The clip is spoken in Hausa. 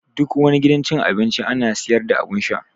Duk wani gidan cin abinci ana sayar da abun sha